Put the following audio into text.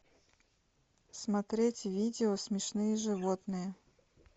смотреть видео смешные животные